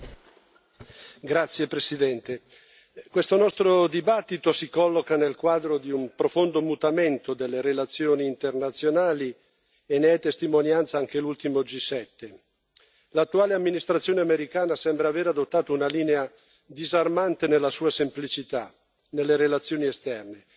Signor Presidente, onorevoli colleghi, questo nostro dibattito si colloca nel quadro di un profondo mutamento delle relazioni internazionali e ne è testimonianza anche l'ultimo G7. L'attuale amministrazione americana sembra aver adottato una linea disarmante nella sua semplicità nelle relazioni esterne,